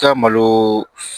I ka malo